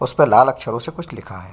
उसपे लाल अक्षरों से कुछ लिखा है।